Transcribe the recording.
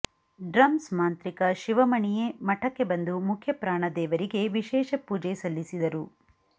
drums ಮಾಂತ್ರಿಕ ಶಿವಮಣಿಯೇ ಮಠಕ್ಕೆ ಬಂದು ಮುಖ್ಯಪ್ರಾಣ ದೇವರಿಗೆ ವಿಶೇಷ ಪೂಜೆ ಸಲ್ಲಿಸಿದರು